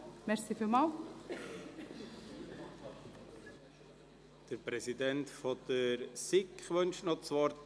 Der Präsident der BiK, Grossrat Näf, wünscht das Wort.